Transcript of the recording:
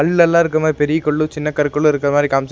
கல்லெலா இருக்க மாரி பெரிய கல்லு சின்ன கற்களு இருக்கற மாரி காம்சி--